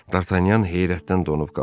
D'Artagnan heyrətdən donub qaldı.